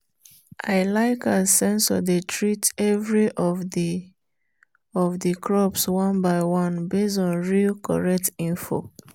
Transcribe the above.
i like as sensor dey treat every of the of the crops one by one based on real correct info.